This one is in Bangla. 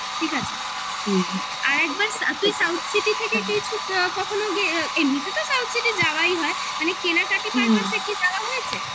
আর তুই south city থেকে কিছু কখনো গিয়ে এমনিতে তো south city যাওয়াই হয় মানে কেনাকাটি purpose কি যাওয়া হয়েছে